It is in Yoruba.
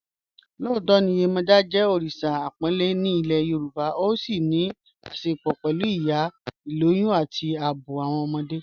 Lọọtọ Yemoja jẹ́ oríṣa àpònlẹ̀ ní ilẹ̀ Yorùbá, ó sì ní àṣẹ̀pọ̀ pẹ̀lú ìyá, ilòyùn, àti ààbọ̀ awọn ọmọdé.